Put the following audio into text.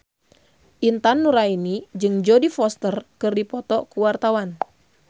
Intan Nuraini jeung Jodie Foster keur dipoto ku wartawan